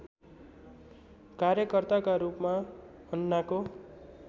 कार्यकर्ताका रूपमा अन्नाको